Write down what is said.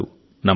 నమస్కారం